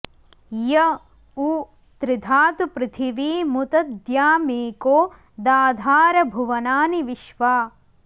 य उ॑ त्रि॒धातु॑ पृथि॒वीमु॒त द्यामेको॑ दा॒धार॒ भुव॑नानि॒ विश्वा॑